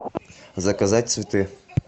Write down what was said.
заказать цветы